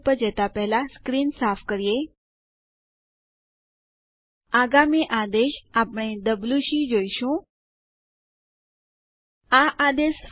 user ID અને group ID ID વિશે માહિતી જાણવા માટે ઇડ આદેશ